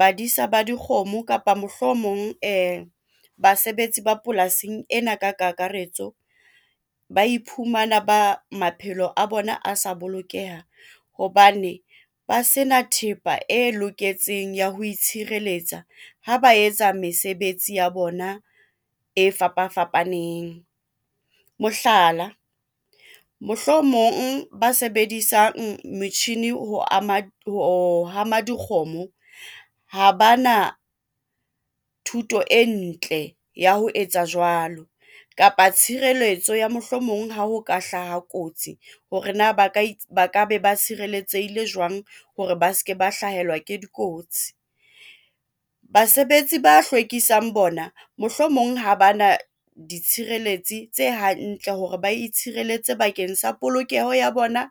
Badisa ba dikgomo kapa mohlomong basebetsi ba polasing ena ka ka karetso ba iphumana ba maphelo a bona a sa bolokeha hobane ba sena thepa e loketseng ya ho itshireletsa ha ba etsa mesebetsi ya bona e fapa fapaneng. Mohlala, mohlomong ba sebedisang metjhini ho hama dikgomo ha ba na thuto e ntle ya ho etsa jwalo kapa tshireletso ya mohlomong ha ho ka hlaha kotsi hore na ba ka be ba tshireletsehile jwang hore ba seke ba hlahelwa ke dikotsi. Basebetsi ba hlwekisang bona mohlomong ha ba na ditshireletsi tse hantle hore ba itshireletse bakeng sa polokeho ya bona,